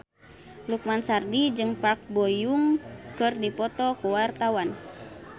Lukman Sardi jeung Park Bo Yung keur dipoto ku wartawan